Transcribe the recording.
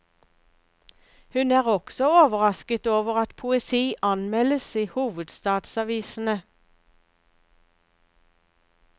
Hun er også overrasket over at poesi anmeldes i hovedstadsavisene.